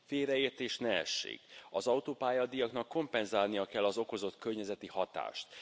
Félreértés ne essék az autópályadíjaknak kompenzálniuk kell az okozott környezeti hatást.